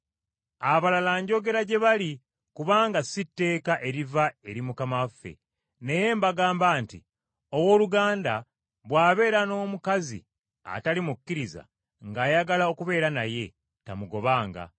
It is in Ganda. Abalala njogera gye bali kubanga si tteeka eriva eri Mukama waffe, naye mbagamba nti owooluganda bw’abeera n’omukazi atali mukkiriza ng’ayagala okubeera naye, tamugobanga.